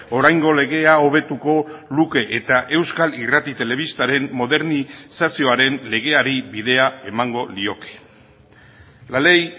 oraingo legea hobetuko luke eta euskal irrati telebistaren modernizazioaren legeari bidea emango lioke la ley